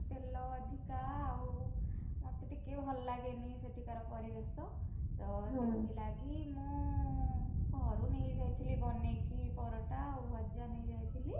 ତେଲ ଅଧିକା ଆଉ, ମତେ ଟିକେ ଭଲ ଲଗେନି ସେଠିକାର ପରିବେଶ, ତ ହୁଁ ସେଥିଲାଗି ମୁଁ, ଘରୁ ନେଇଯାଇଥିଲି ବନେଇକି ପରଟା ଆଉ ଭଜା ନେଇଯାଇଥିଲି।